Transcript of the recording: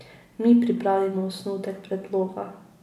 Mi pripravimo osnutek predloga.